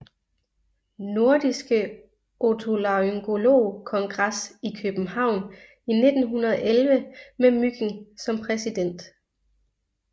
Nordiske Otolaryngolog Kongres i København i 1911 med Mygind som præsident